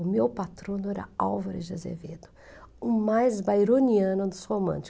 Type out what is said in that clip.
O meu patrono era Álvaro de Azevedo, o mais bayroniano dos